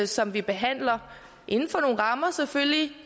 som vi behandler inden for nogle rammer selvfølgelig